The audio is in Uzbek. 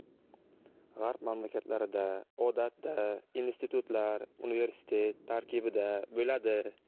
G‘arb mamlakatlarida odatda institutlar universitet tarkibida bo‘ladi.